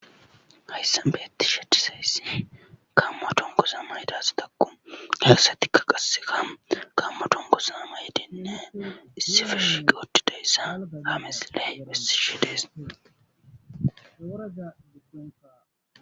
Hayssan beetishe dizaysati gaamo dunguza mayida asatakko he asatikka qassekka gaamo dunguza mayyyidinne issippe shiiqi uttidayssa ha misile besishe dees.